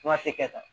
Fura tɛ kɛ tan